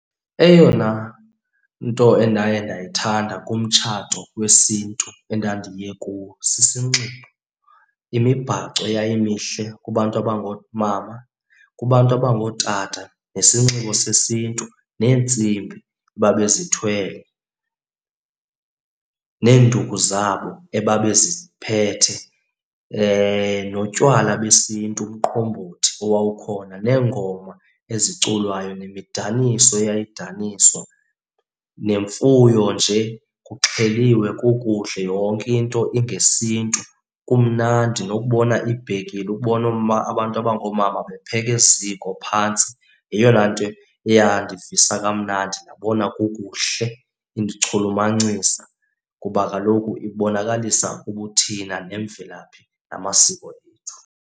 Eyona nto endaye ndayithanda kumtshato wesiNtu endandiye kuwo sisinxibo, imibhaco eyayimihle kubantu abangoomama. Kubantu abangootata nesinxibo sesiNtu neentsimbi babezithwele neenduku zabo ebabeziphethe. Notywala besiNtu, umqombothi owuwawukhona, neengoma eziculayo nemidaniso eyayidaniswa. Nemfuyo nje kuxheliwe kukuhle, yonke into ingesiNtu. Kumnandi nokubona iibhekile, ukubona abantu abangoomama bepheka eziko phantsi. Yeyona nto eyandivisa kamnandi ndabona kukuhle, indichulumancisa kuba kaloku ibonakalisa ubuthina nemvelaphi namasiko ethu.